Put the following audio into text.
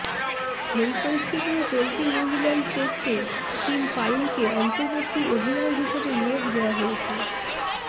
এই পরিস্থিতিতে চলতি নিউল্যান্ডস টেস্টে টিম পাইনকে অন্তর্বর্তী অধিনায়ক হিসেবে নিয়োগ দেওয়া হয়েছে